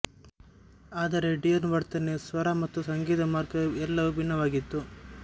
ಆದರೆ ಡಿಯೊನ ವರ್ತನೆ ಸ್ವರ ಮತ್ತು ಸಂಗೀತ ಮಾರ್ಗ ಎಲ್ಲವೂ ಭಿನ್ನವಾಗಿತ್ತು